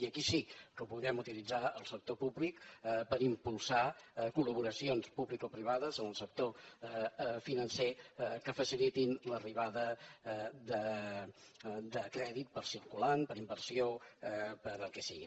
i aquí sí que podem utilitzar el sector públic per impulsar col·laboracions publicoprivades en el sector financer que facilitin l’arribada de crèdit per a circulant per a inversió per al que sigui